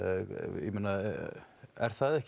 ég meina er það ekki